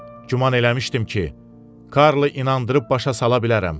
Güman eləmişdim ki, Karlı inandırıb başa sala bilərəm.